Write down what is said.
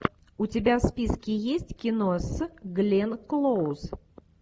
у тебя в списке есть кино с гленн клоуз